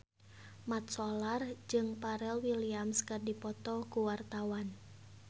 Mat Solar jeung Pharrell Williams keur dipoto ku wartawan